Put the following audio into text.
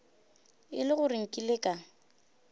e le gore nkile ka